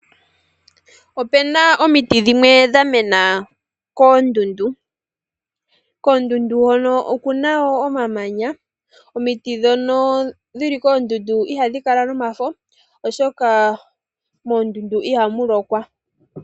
Opuna omiti dhimwe dha mena koondundu, koondundu hoka okuna wo omamanya, omiti dhono dhili koondundu ihadhi kala nomafo, oshoka moondundu ihamu lokwa.